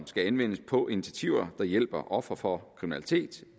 skal anvendes på initiativer der hjælper ofre for kriminalitet